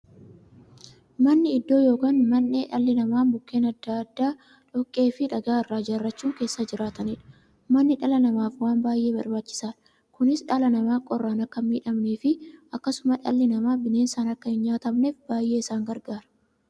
Manni iddoo yookiin mandhee dhalli namaa Mukkeen adda addaa, dhoqqeefi dhagaa irraa ijaarachuun keessa jiraataniidha. Manni dhala namaaf waan baay'ee barbaachisaadha. Kunis, dhalli namaa qorraan akka hin miidhamneefi akkasumas dhalli namaa bineensaan akka hin nyaatamneef baay'ee isaan gargaara.